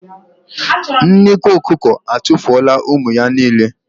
Nnekwu atụfuola ụmụ ya niile.